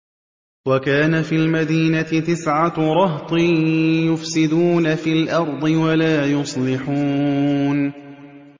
وَكَانَ فِي الْمَدِينَةِ تِسْعَةُ رَهْطٍ يُفْسِدُونَ فِي الْأَرْضِ وَلَا يُصْلِحُونَ